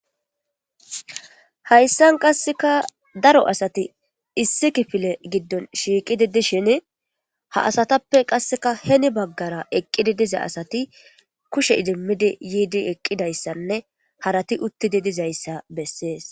hayssan qasseka daro asati issi kifile giddon shiiqidi dishin ha asatappe qasseka heni baggara eqqidi diza asati kushe idimmidi yiidi eqqidayssanne harati uttidi dizayssa bessees